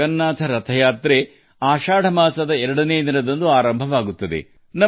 ಭಗವಾನ್ ಜಗನ್ನಾಥ ಯಾತ್ರೆಯು ಆಷಾಢ ಮಾಸದ ಎರಡನೇ ದಿನದಂದು ಪ್ರಾರಂಭವಾಗುತ್ತದೆ